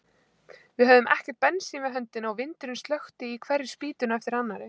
Við höfðum ekkert bensín við höndina og vindurinn slökkti í hverri spýtunni á eftir annarri.